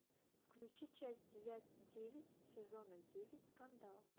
включи часть девять сезона девять скандал